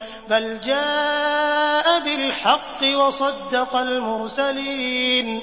بَلْ جَاءَ بِالْحَقِّ وَصَدَّقَ الْمُرْسَلِينَ